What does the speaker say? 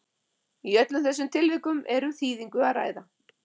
Í öllum þessum tilvikum er um þýðingu að ræða.